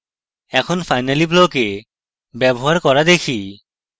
এখন finally block এর ব্যবহার করা দেখি